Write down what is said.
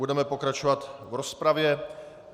Budeme pokračovat v rozpravě.